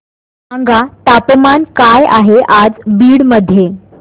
सांगा तापमान काय आहे आज बीड मध्ये